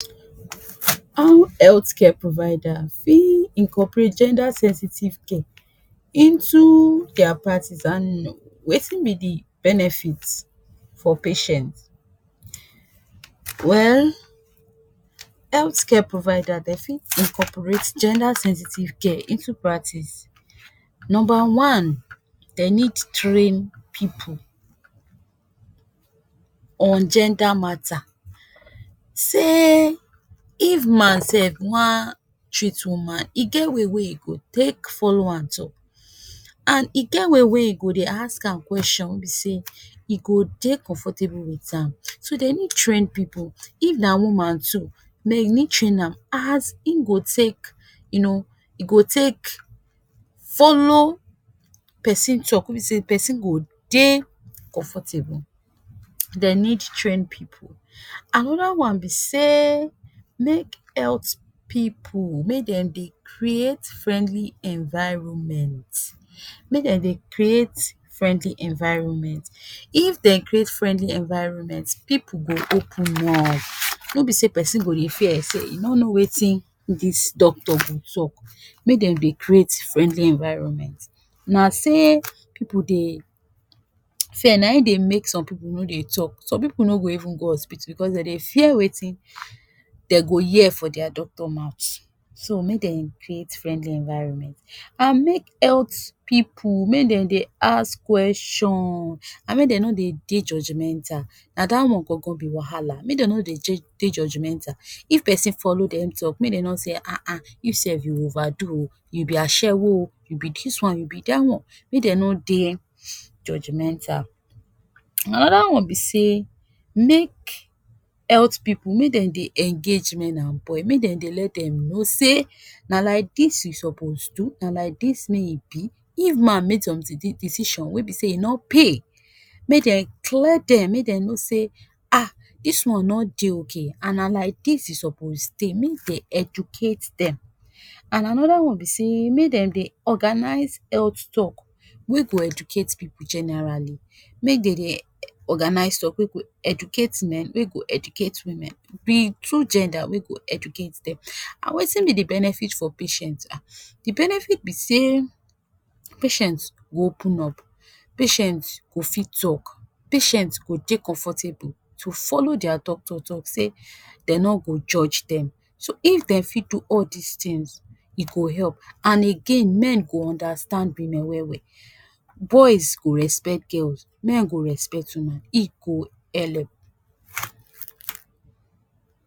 How health care provider fi incorporate gender sensitive care into their practice and wetin be the benefits for patients. Well, health care provider den fi incorporate gender sensitive care into practice. Number one, den need train pipu on gender matter say if man sef wan treat woman, e get way wey e go take follow am talk, and e get way wey e go dey ask am kweshon wey be sey e go dey comfortable with am, so dey need train pipu, if na woman too, may you need train am as im go take you know, e go take follow pesin talk, wey be sey pesin go dey comfortable, den need train pipu. Another one be say, make health pipu, make dem dey create friendly environment, make dem dey create friendly environment. If den create friendly environment, pipu go open up, no be sey pesin go dey fear say e no know wetin dis doctor go talk, make dem dey create friendly environment. Na sey pipu dey fear, na im dey make some pipu no dey talk, some pipu no go even go hospital because den dey fear wetin they go hear for their doctor mouth, so make den create friendly environment. And make health pipu, make dem dey ask kweshon and make dem no dey de judgmental, na that one gon-gon be wahala, make dem no dey judgmental. If pesin follow them talk, make them no talk say [Ah ah] you sef you over do oo, you be ashewo oo, you be this one, you be that one, make them no dey judgmental. Another one be say, make health pipu, make dem dey engage men and boy, make dem dey let them know say na like dis you supoz dey do, na like dis make you be. If man make some decision wey be sey e no pay, make dem clear them, make dem know say Ah dis one no dey okay, and na like dis you supoz dey, make den educate them. And another one be say, make dem dey organize health talk wey go educate pipu generally, make den dey organize talk wey go educate men, wey go educate women, the two gender wey go educate them. And wetin be the benefit for patients Ah, the benefit be say, patient go open up, patient go fit talk, patient go dey comfortable to follow their doctor talk say they no go judge them, so if den fi do all these things, e go help. And again men go understand women well-well, boys go respect girls, men go respect women, e go help.